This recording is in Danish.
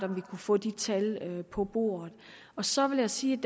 vi kunne få de tal på bordet så vil jeg sige